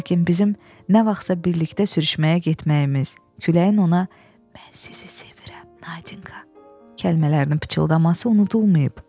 Lakin bizim nə vaxtsa birlikdə sürüşməyə getməyimiz, küləyin ona mən sizi sevirəm, Nadinka kəlmələrini pıçıldaması unudulmayıb.